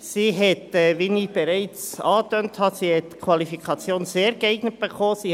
Sie hat, wie ich bereits angetönt habe, die Qualifikation «sehr geeignet» erhalten.